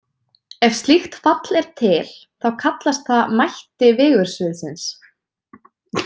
Ef slíkt fall er til, þá kallast það mætti vigursviðsins.